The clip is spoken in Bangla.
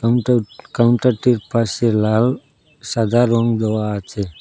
কাউন্টার কাউন্টারটির পাশে লাল সাদা রং দেওয়া আছে।